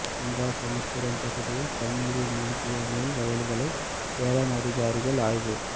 அம்பாசமுத்திரம் பகுதியில் தண்ணீரில் மூழ்கிய நெல் வயல்களை வேளாண் அதிகாரிகள் ஆய்வு